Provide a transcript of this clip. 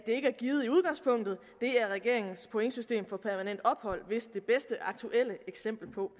det er regeringens pointsystem for permanent ophold vist det bedste aktuelle eksempel på